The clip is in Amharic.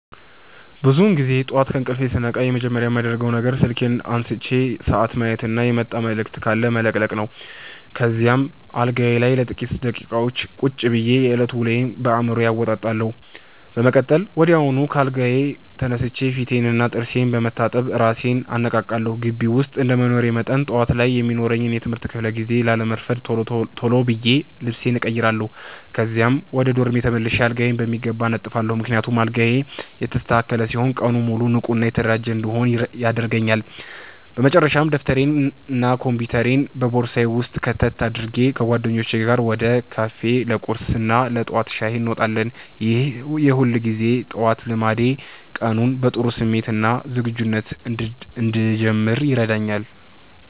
ብዙውን ጊዜ ጠዋት ከእንቅልፌ ስነቃ መጀመሪያ የማደርገው ነገር ስልኬን አንስቼ ሰዓት ማየትና የመጣ መልዕክት ካለ መለቅለቅ ነው። ከዚያም አልጋዬ ላይ ለጥቂት ደቂቃዎች ቁጭ ብዬ የዕለቱን ውሎ በአዕምሮዬ አወጣጣለሁ። በመቀጠል ወዲያውኑ ከአልጋዬ ተነስቼ ፊቴንና ጥርሴን በመታጠብ እራሴን አነቃቃለሁ። ግቢ ውስጥ እንደመኖሬ መጠን፣ ጠዋት ላይ የሚኖረኝን የትምህርት ክፍለ ጊዜ ላለማርፈድ ቶሎ ብዬ ልብሴን እቀይራለሁ። ከዚያም ወደ ዶርሜ ተመልሼ አልጋዬን በሚገባ አነጥፋለሁ፤ ምክንያቱም አልጋዬ የተስተካከለ ሲሆን ቀኑን ሙሉ ንቁና የተደራጀሁ እንድሆን ያደርገኛል። በመጨረሻም ደብተሬንና ኮምፒውተሬን በቦርሳዬ ውስጥ ከተት አድርጌ፣ ከጓደኞቼ ጋር ወደ ካፌ ለቁርስና ለጠዋት ሻይ እንወጣለን። ይህ የሁልጊዜ ጠዋት ልማዴ ቀኑን በጥሩ ስሜትና ዝግጁነት እንድጀምር ይረዳኛል።